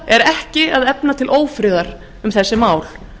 að efna til ófriðar um þessi mál